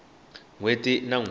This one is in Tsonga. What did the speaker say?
n hweti na n hweti